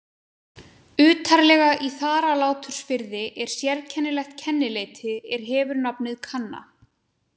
Utarlega í Þaralátursfirði er sérkennilegt kennileiti er hefur nafnið Kanna.